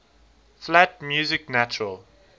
flat music natural